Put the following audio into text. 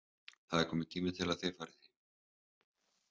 Það er kominn tími til að þið farið heim.